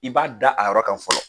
I b'a da a yɔrɔ kan fɔlɔ .